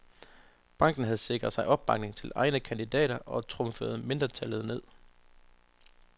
Banken havde sikret sig opbakning til egne kandidater og trumfede mindretallet ned.